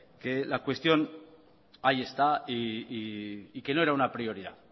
que la cuestión ahí está y que no era una prioridad